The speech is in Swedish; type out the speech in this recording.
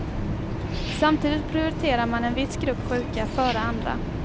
Samtidigt prioriterar man en viss grupp sjuka före andra.